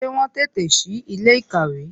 Ṣé wọn ó tètè si ilé ìkàwé